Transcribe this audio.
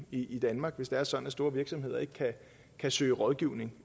i danmark hvis det er sådan at store virksomheder ikke kan søge rådgivning